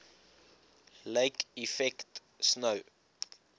lake effect snow